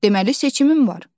Deməli seçimim var.